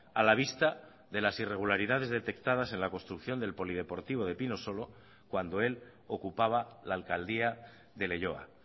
a la vista de las irregularidades detectadas en la construcción del polideportivo de pinosolo cuando él ocupaba la alcaldía de leioa